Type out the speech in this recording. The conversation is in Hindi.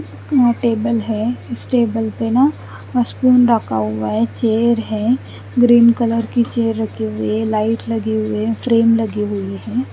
यहाँ टेबल है इस टेबल पे ना मस्पिन रखा हुआ है चेयर है ग्रीन कलर की चेयर रखी हुई है लाइट लगी हुई है फ्रेम लगी हुई है।